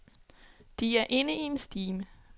De er inde i en stime.